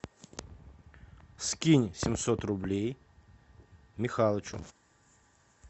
скинь семьсот рублей михалычу